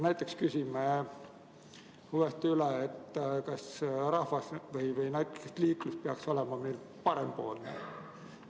Näiteks võime küsida üle, kas liiklus peaks olema parempoolne.